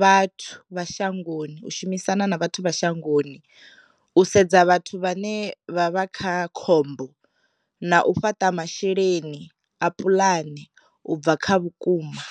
vhathu vha shangoni u shumisana na vhathu vha shangoni u sedza vhathu vhane vha vha kha khombo na u fhaṱa masheleni a puḽane u bva kha vhukuma.